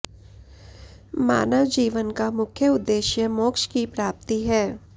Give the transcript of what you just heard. मानव जीवन का मुख्य उद्देश्य मोक्ष की प्राप्ति है